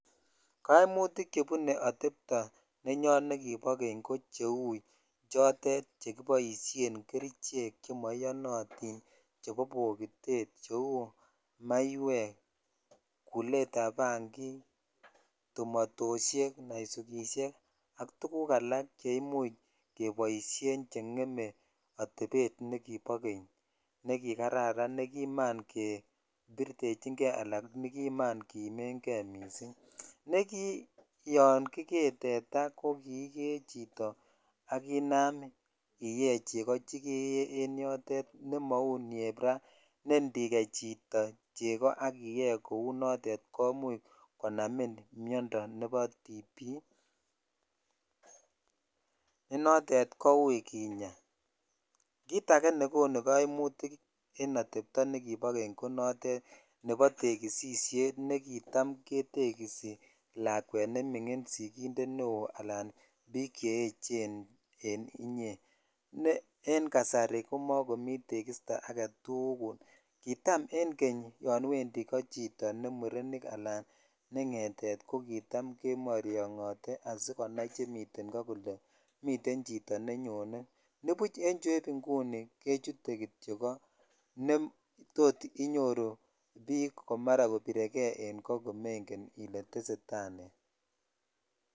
Kaimmutik chebune atepo yen nekibo keny en inguni koo cheu chotet chekiboisien kerichek chemmoiyonoti chotet chebo bokitet cheu naiwek kulet ab bangik , tumotoshek ,naisukishek ak tuguk alak che imucb keboishen ko ngeme atepet nekobo key kekikararan ala nekiman kebbirtechin kei ala nekiman jiimen kei missing ne kiyon kikee tetaa ko kikee chito ak inam iyee cheko chekeke en yoteet che mau chueb raa ne indikei chto cheko ak iyee kou noton konamin miondoo nebo tp ne noten kou kinyaa kit ake nekonu kaimutik en atepto nekibo keny ko notet nebo tekisishet nekitam ketekisi lakwet nemingin ala lakwet bik chechen en inye ne en kasari ko mokomi tekisto agetugul kitap en keny yon wendi ko chito ne murenik alan ne ngetet ko ktam kemoryonyote kepindi asikonai nemiten ko kole mite chito nenyon nibuch chueb inguni kechute kityok kotot inyoru bik kibirekei en ko komengen kit netesetai.